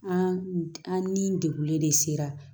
An an ni degunlen de sera